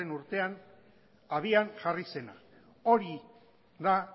urtean abian jarri zena hori da